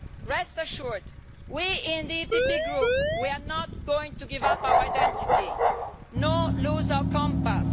Rest assured, we in the PPE Group are not going to give up our identity, nor lose our compass.